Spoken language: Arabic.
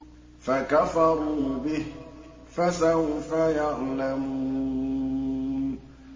فَكَفَرُوا بِهِ ۖ فَسَوْفَ يَعْلَمُونَ